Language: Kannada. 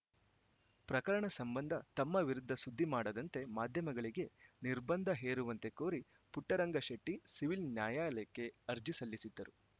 ಪ್ರಕರಣ ಸಂಬಂಧ ತಮ್ಮ ವಿರುದ್ಧ ಸುದ್ದಿ ಮಾಡದಂತೆ ಮಾಧ್ಯಮಗಳಿಗೆ ನಿರ್ಬಂಧ ಹೇರುವಂತೆ ಕೋರಿ ಪುಟ್ಟರಂಗ ಶೆಟ್ಟಿಸಿವಿಲ್‌ ನ್ಯಾಯಾಲಯಕ್ಕೆ ಅರ್ಜಿ ಸಲ್ಲಿಸಿದ್ದರು